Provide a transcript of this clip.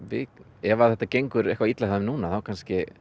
ef að þetta gengur eitthvað illa hjá þeim núna þá kannski